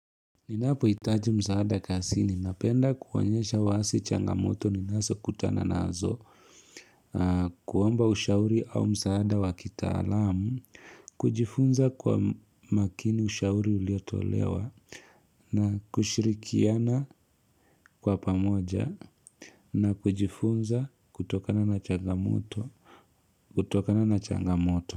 Ninapohitaji msaada kazini napenda kuonyesha wazi changamoto ninazo kutana naazo kuomba ushauri au msaada wakitaalamu kujifunza kwa makini ushauri uliotolewa na kushirikiana kwa pamoja na kujifunza kutokana na changamoto.